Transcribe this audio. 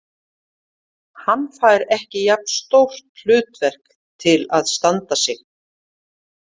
Hann fær ekki jafn stórt hlutverk til að standa sig.